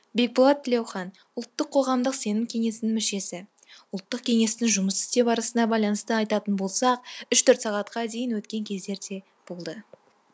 бекболат тілеухан ұлттық қоғамдық сенім кеңесінің мүшесі ұлттық кеңестің жұмыс істеу барысына байланысты айтатын болсақ үш төрт сағатқа дейін өткен кездер де болды